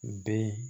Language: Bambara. U bɛ